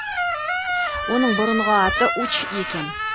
оның бұрынғы аты уч екен